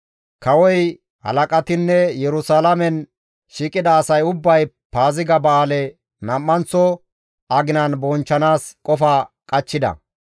Kawoy, halaqatinne, Yerusalaamen shiiqida asay ubbay Paaziga ba7aale nam7anththo aginan bonchchanaas qofa qachchida.